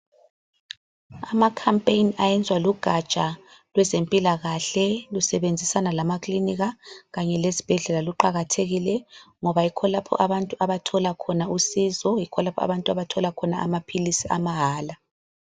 Amakhampeyini ayenzwa lugatsha lwezempilakahle lusebenzisana lama kilinika kanye lezibhedlela luqakathekile ngoba yikho lapho abantu abathola khona usizo, yikho lapho abantu abathola khona amaphilisi amahala.